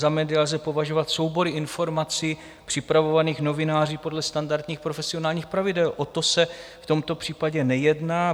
Za média lze považovat soubory informací připravovaných novináři podle standardních profesionálních pravidel, o to se v tomto případě nejedná.